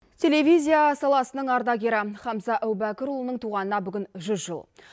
телевизия саласының ардагері хамза әубәкірұлының туғанына бүгін жүз жыл